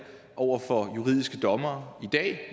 over for juridiske dommere det